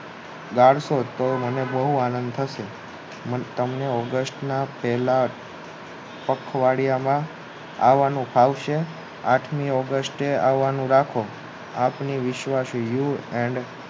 guys તે મને બોવ આનંદ થશે તમને ઓગસ્ટના પહેલા અઠવાડિયામાં આવાનું થાયસે આઠમી ઓગસ્ટ નું રાખો આત્મિ વિશ્વાસી you and